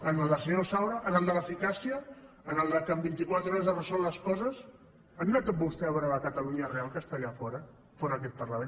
en el del senyor saura en el de l’eficàcia en el que en vintiquatre hores es resolen les coses ha anat vostè a veure la catalunya real que està allà fora fora d’aquest parlament